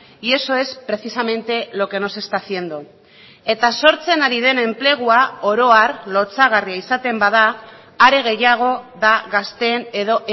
y eso es precisamente lo que no se está haciendo eta sortzen ari den enplegua oro har lotsagarria izaten bada are gehiago da gazteen edo